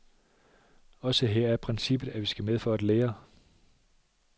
Også her er princippet, at vi skal med for at lære.